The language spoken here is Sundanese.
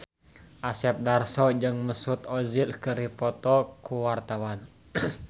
Asep Darso jeung Mesut Ozil keur dipoto ku wartawan